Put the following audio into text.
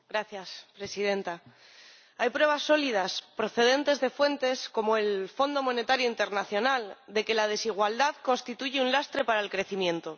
Señora Presidenta, hay pruebas sólidas, procedentes de fuentes como el Fondo Monetario Internacional, de que la desigualdad constituye un lastre para el crecimiento.